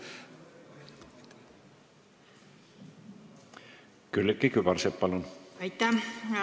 Külliki Kübarsepp, palun!